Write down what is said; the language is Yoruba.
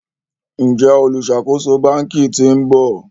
Njé oluṣakoso bánkì t'in bò?